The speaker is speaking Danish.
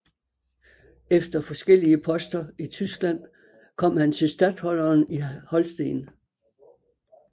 Efter forskellige poster i Tyskland kom han til statholderen i Holsten